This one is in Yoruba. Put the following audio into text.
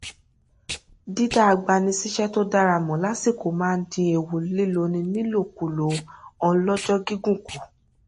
dídá agbanisíṣẹ tó dára mọ lásìkò máa n dín ewu líloni ní ìlòkulòn ọlọjọ gígùn kù